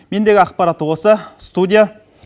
мендегі ақпарат осы студия